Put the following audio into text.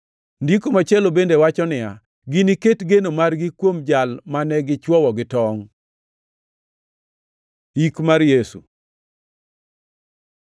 Ndiko machielo bende wacho niya, “Giniket geno margi kuom Jal mane gichwowo gi tongʼ.” + 19:37 \+xt Zek 12:10\+xt* Yik mar Yesu